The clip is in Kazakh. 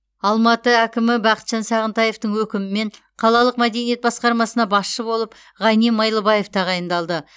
алматы әкімі бақытжан сағынтаевтың өкімімен қалалық мәдениет басқармасына басшы болып ғани майлыбаев тағайындалды